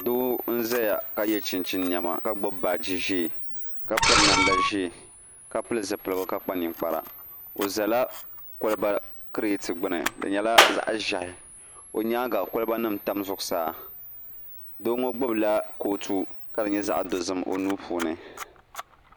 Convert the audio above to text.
Doo n ʒɛya ka yɛ chinchin niɛma ka gbubi baaji ʒiɛ ka piri namda ʒiɛ ka pili zipiligu ka kpa ninkpara o ʒɛla kolba kirɛt gbuni di nyɛla zaɣ ʒiɛhi o nyaanga kolba nim tam zuɣusaa Doo ŋo gbubila kolba ka di nyɛ zaɣ dozim o nuu puuni